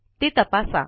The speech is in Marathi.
ते तपासा